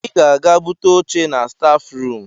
Ị ga-aga bute oché na staf ruum.